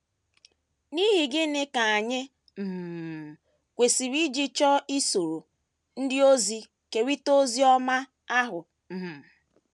N’ihi gịnị ka anyị um kwesịrị iji chọọ isoro ndị ọzọ kerịta ozi ọma ahụ um?